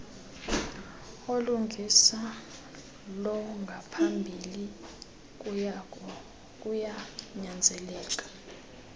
olungisa longaphambili kuyanyanzeleka